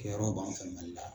Kɛ yɔrɔ b'an fɛ Mali la.